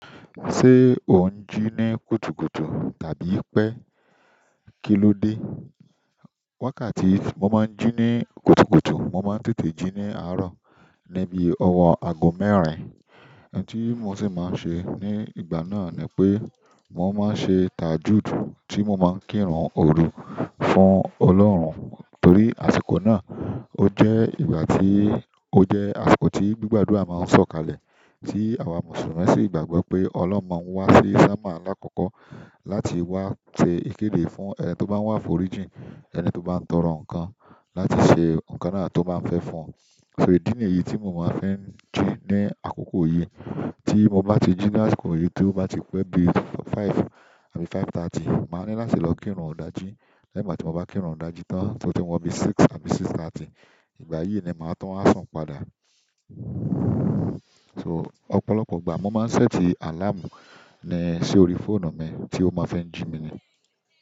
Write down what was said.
Ṣé o ń jí ní kùtùkùtù tàbí pé kílódé? Wákàtí tí mo máa ń jí ní kùtùkùtù, mo máa ń tètè jí ní àárọ̀ níbi ọwọ́ ago mẹ́rin. Ẹ̀ní tí mo sì máa ń ṣe ní ìgbà náà ni pé mo máa ń ṣe tajude tí mo máa ń kírun òru fún Ọlọ́run. Torí àsìkò náà o jẹ ìgbà ti o je àsìkò ti gbigba adua maa n sokale ti awa mùsùlùmí sí gbàgbọ́ pe ọlọhun maa n wasi ṣọmọ alakọkọ láti wa se ikede fún ẹni to ba àforíjì ẹni to ba n tọrọ nkan láti se nkán náà to ba n fe fún. So ìdí nìyí tí mo máa ń fẹ́ jí ní àkókò yìí. Tí mo bá ti jí ní àsìkò yìí tí ó bá ti pé bí i five àbí five thirty, màá ní láti lọ kírun òdájí. Lẹ́yìn màá tí mo bá kírun òdájí tán tí ó ti wọmi six àbí six thirty, ìgbà yìí ni màá tó wa sun padà. So ọ̀pọ̀lọpọ̀ ìgbà mo máa ń ṣẹ́ẹ̀tì àláàmù ní si orí fóònù mi tí ó máa ń fi jí mi ni.